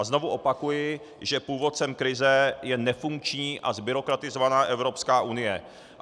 A znovu opakuji, že původcem krize je nefunkční a zbyrokratizovaná Evropská unie.